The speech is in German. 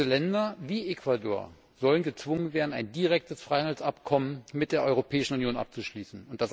Länder wie Ecuador sollen gezwungen werden, ein direktes Freihandelsabkommen mit der Europäischen Union abzuschließen.